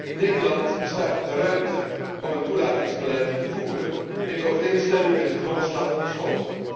In Nederland bestaat de ruimte om een toelatingsbeleid te voeren in overeenstemming met de grondslag van de school.